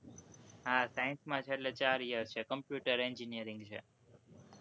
હા, science માં છે, એટલે ચાર year છે, computer engineering છે.